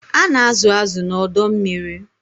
A na-azụ̀ azụ̀ na ọdọ mmiri.